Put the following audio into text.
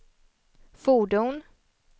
fordon